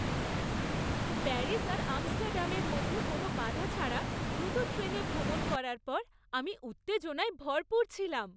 Paris আর আমস্টারডামের মধ্যে কোনো বাধা ছাড়া দ্রুত ট্রেনে ভ্রমণ করার পর আমি উত্তেজনায় ভরপুর ছিলাম।